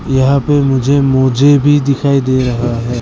यहां पे मुझे मोजे भी दिखाई दे रहा है।